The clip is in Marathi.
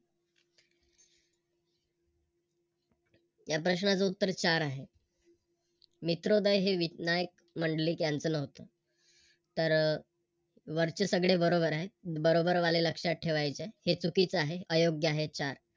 या प्रश्नाच उत्तर चार आहे. मित्रोदय हे विनायक मंडलिक यांच नव्हतं तर वरचे सगळे बरोबर आहे. बरोबर वाले लक्षात ठेवायचे हे चुकीच आहे. अयोग्य आहे चार